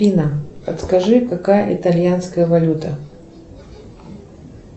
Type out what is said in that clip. афина подскажи какая итальянская валюта